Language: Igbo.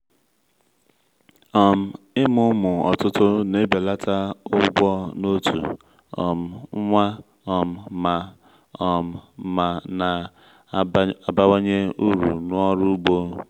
um ịmụ ụmụ ọtụtụ na-ebelata ụgwọ n’otu um nwa um ma um ma na-abawanye uru n’ọrụ ugbo